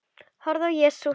Horfði á Jesú.